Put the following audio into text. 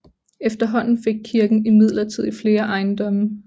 Efterhånden fik kirken imidlertid flere ejendomme